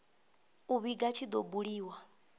u vhiga tshi do buliwa